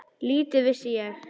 Lítið vissi ég.